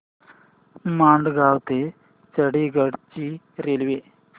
मडगाव ते चंडीगढ ची रेल्वे